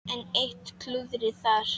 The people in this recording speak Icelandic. Enn eitt klúðrið þar!